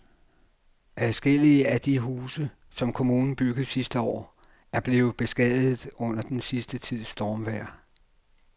Adskillige af de huse, som kommunen byggede sidste år, er blevet beskadiget under den sidste tids stormvejr.